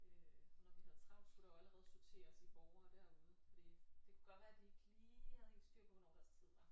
Øh for når vi havde travlt skulle der jo allerede sorteres i borgere derude for det kunne godt være de ikke lige havde helt styr på hvornår deres tid var